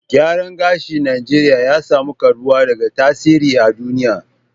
Gyaran gashin Najeriya ya samu karbuwa da tasiri a duniya